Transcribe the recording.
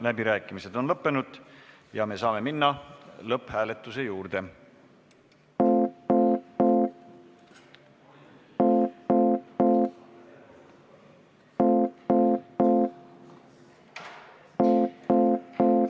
Läbirääkimised on lõppenud ja me saame minna lõpphääletuse juurde.